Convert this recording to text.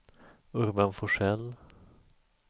Urban Forsell